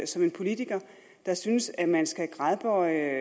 som en politiker der synes at man skal gradbøje